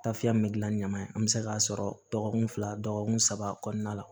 Taafiya min gilan ni ɲaman in an bɛ se k'a sɔrɔ dɔgɔkun fila dɔgɔkun saba kɔnɔna la